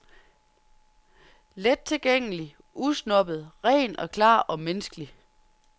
Lettilgængelig, usnobbet, ren og klar og menneskelig.